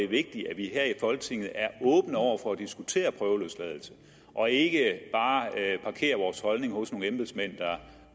vigtigt at vi her i folketinget er åbne over for at diskutere prøveløsladelse og ikke bare parkerer vores holdning hos nogle embedsmænd der